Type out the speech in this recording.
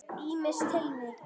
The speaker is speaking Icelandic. Ýmis tilvik.